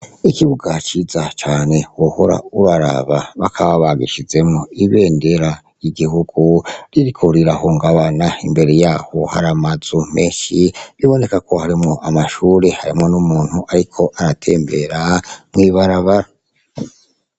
Ikibuga ciza cane wohora uraraba bakaba bagishizemwo ibendera ry'igihugu ririko rirahungabana imbere yaho hari amazu meshi biboneka ko harimwo amashure harimwo n'umuntu ariko aratembera mw'ibarabara.